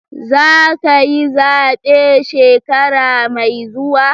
Za ka yi zabe shekara mai zuwa?